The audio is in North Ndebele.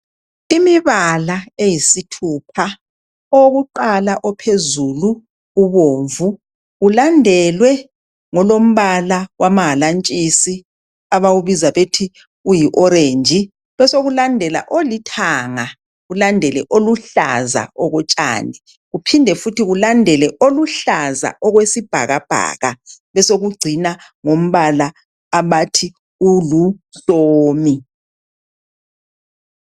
Imibala eyisithupha, owokuqala ophezulu ubomvu ,ulandelwe ngolombala wamahalantshisi, abawubiza bethi uyi orange, besekulandela olithanga, kulandele oluhlaza okotshani, kuphinde futhi kulandele oluhlaza okwesibhakabhaka, besekucina ngombala abathi uluhlomi.